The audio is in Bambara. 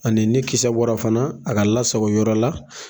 Ani ne kisɛ bɔra fana a ka lasago yɔrɔ la.